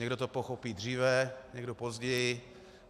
Někdo to pochopí dříve, někdo později.